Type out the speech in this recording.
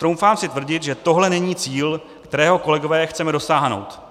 Troufám si tvrdit, že tohle není cíl, kterého, kolegové, chceme dosáhnout.